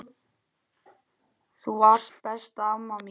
Þú varst besta amma mín.